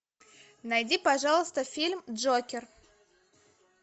найди пожалуйста фильм джокер